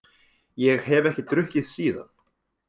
Ég hef ekki drukkið síðan.